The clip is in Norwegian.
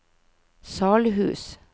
Salhus